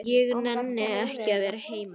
Ég nenni ekki að vera heima.